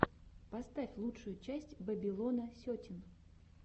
поставь лучшую часть бэбилона сетин